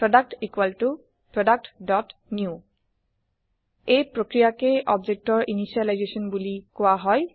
product productনিউ এই প্ৰক্ৰিয়াকে objectৰ ইনিচিয়েলাইজেছন বুলি কোৱা হয়